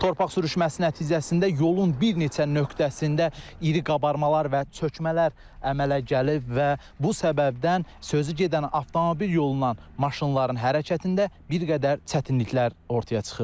Torpaq sürüşməsi nəticəsində yolun bir neçə nöqtəsində iri qabarmalar və çökmələr əmələ gəlib və bu səbəbdən sözügedən avtomobil yolundan maşınların hərəkətində bir qədər çətinliklər ortaya çıxıb.